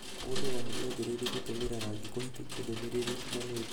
mũndũ oho nĩambĩrĩirie gũtũmĩra rangi kũhĩtũkia ndũmĩrĩri itiganĩte.